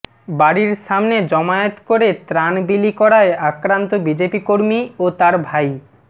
বাড়ির সামনে জমায়েত করে ত্রাণ বিলি করায় আক্রান্ত বিজেপি কর্মী ও তার ভাই